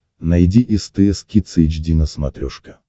найди стс кидс эйч ди на смотрешке